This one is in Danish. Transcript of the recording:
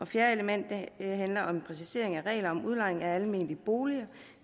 fjerde element handler om en præcisering af reglerne om udlejning af almene boliger